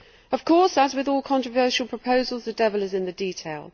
Of course, as with all controversial proposals, the devil is in the detail.